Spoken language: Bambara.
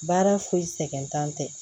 Baara foyi sɛgɛn t'an tɛ